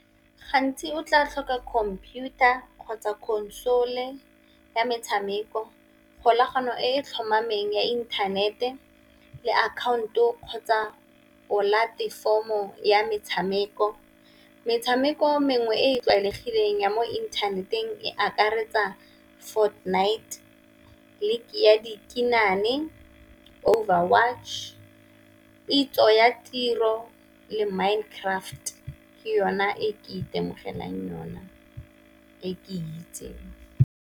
Gantsi o tla tlhoka computer kgotsa console e ya metshameko, kgolagano e tlhomameng ya inthanete, le akhaonto kgotsa polatefomo o ya metshameko. Metshameko e mengwe e e tlwaelegileng ya mo inthaneteng e akaretsa night, League ya dikinane, Over watch, Pitso ya tiro le Minecraft ke yona e ke itemogelang yona e ke itseng.